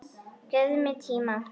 Gefðu mér tíma.